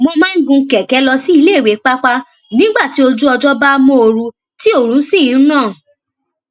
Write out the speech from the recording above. wón máa ń gun kèké lọ sí iléìwé pàápàá nígbà tí ojú ọjó bá móoru tí oòrùn sì ń ràn